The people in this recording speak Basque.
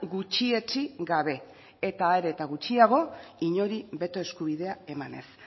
gutxietsi gabe eta are eta gutxiago inori beto eskubidea emanez